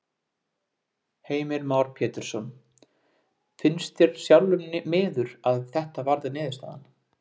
Heimir Már Pétursson: Finnst þér sjálfum miður að þetta varð niðurstaðan?